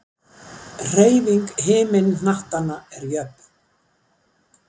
hreyfing himinhnattanna er jöfn